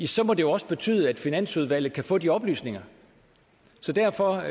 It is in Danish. så må det jo også betyde at finansudvalget kan få de oplysninger derfor